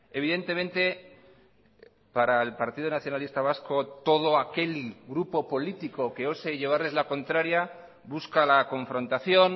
evidentemente para el partido nacionalista vasco todo aquel grupo político que ose llevarles la contraria busca la confrontación